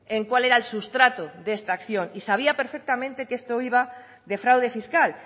en cuál era el sustrato de esta acción y sabía perfectamente que esto iba de fraude fiscal